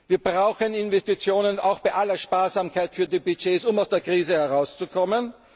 Wir brauchen Investitionen auch bei aller Sparsamkeit bei den Budgets, um aus der Krise herauszukommen.